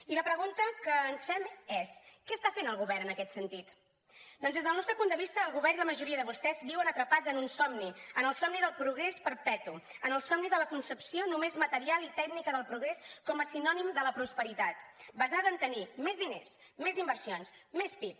i la pregunta que ens fem és què està fent el govern en aquest sentit doncs des del nostre punt de vista el govern i la majoria de vostès viuen atrapats en un somni en el somni del progrés perpetu en el somni de la concepció només material i tècnica del progrés com a sinònim de la prosperitat basada en tenir més diners més inversions més pib